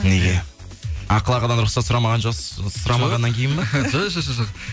неге ақын ағадан рұқсат сұрамағаннан кейін ба жоқ